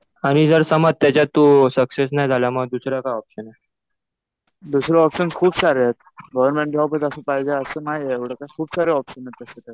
आणि जर समज त्याच्यात तु सक्सेस नाही झाला तर मग दुसरा काय ऑप्शन आहे? दुसरे ऑप्शन खूप सारे आहेत. गव्हर्नमेंट जॉबच असं पाहिजे असं नाहीये. एवढं काही खूप सारे ऑप्शन्स आहेत दुसरे.